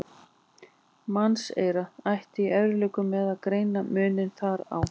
Mannseyrað ætti í erfiðleikum með að greina muninn þar á.